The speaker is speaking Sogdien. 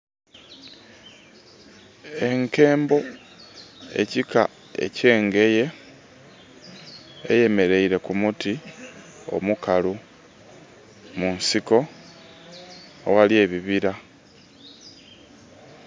Enkembo ekika ekyengeye, eyemereire ku muti omukalu munsiko aghali ebibira.